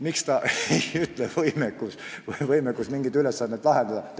Miks ta ei ütle "võimekus", "võimekus mingeid ülesandeid lahendada"?